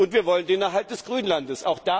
Und wir wollen den Erhalt des Grünlandes.